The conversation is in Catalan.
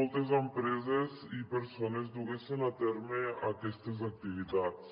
moltes empreses i persones duguessen a terme aquestes activitats